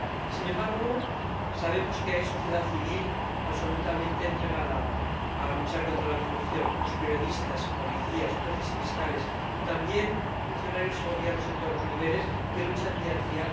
Sin embargo, sabemos que hay sociedad civil absolutamente entregada a luchar contra la corrupción los periodistas, policías, jueces y fiscales, y también funcionarios y gobiernos en todos los niveles que luchan día a día